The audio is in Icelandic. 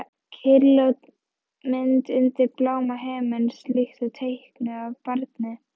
Kyrrlát mynd undir bláma himins, líkt og teiknuð af barni.